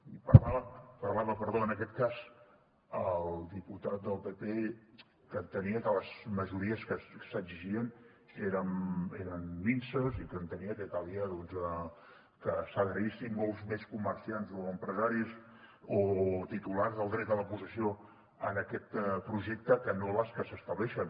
i parlava en aquest cas el diputat del pp que entenia que les majories que s’exigien eren minses i que entenia que calia que s’adherissin molts més comerciants o empresaris o titulars del dret a la possessió en aquest projecte que no les que s’estableixen